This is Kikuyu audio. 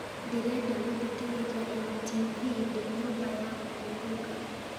ndĩrenda gũthikĩrĩria n.t.v ndĩ nyũmba ya kũhũrũka